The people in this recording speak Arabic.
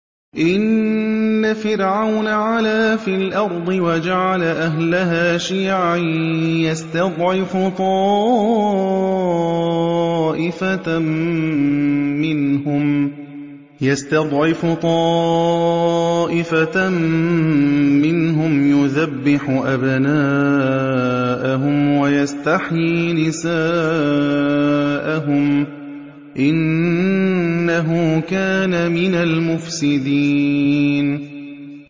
إِنَّ فِرْعَوْنَ عَلَا فِي الْأَرْضِ وَجَعَلَ أَهْلَهَا شِيَعًا يَسْتَضْعِفُ طَائِفَةً مِّنْهُمْ يُذَبِّحُ أَبْنَاءَهُمْ وَيَسْتَحْيِي نِسَاءَهُمْ ۚ إِنَّهُ كَانَ مِنَ الْمُفْسِدِينَ